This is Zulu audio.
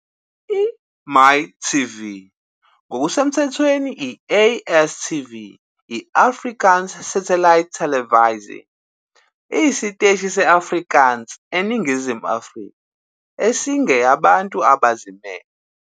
I-MYtv ngokusemthethweni i-ASTV, i-Afrikaanse Satellietelevisie, iyisiteshi sethelevishini i-Afrikaans eNingizimu Afrika esingeyabantu abazimele.